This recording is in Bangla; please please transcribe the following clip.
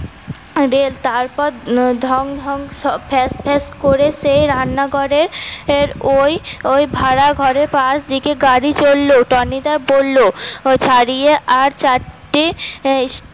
রেল তারপর ঢং ঢং শ ফ্যাস ফ্যাস করে সেই রান্না ঘরের ওই ভাড়া ঘরের পাশ দিকে গাড়ি চললো টনিদা বলল ছাড়িয়ে আর চার টি